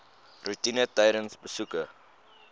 roetine tydens besoeke